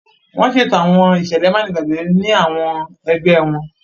Wọn ṣeto àwọn iṣẹlẹ manigbagbe ni awọn ẹgbẹ wọn.